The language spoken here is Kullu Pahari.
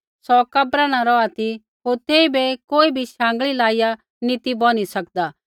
सौ कब्रा न रौहा ती होर तेइबै कोई भी शाँगल़ीयै लाइया नी ती बोनी सकदा